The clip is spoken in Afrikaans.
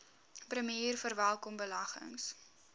premier verwelkom beleggings